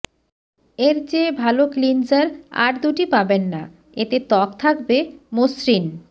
এর চেয়ে ভালো ক্লিনজার আর দুটি পাবেন না এতে ত্বক থাকবে মসৃণ